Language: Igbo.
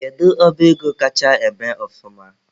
Kedu ọba ego kacha eme ọfụma?